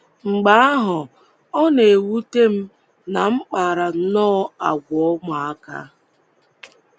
Mgbe ahụ, ọ na-ewute m na m kpara nnọọ àgwà ụmụaka.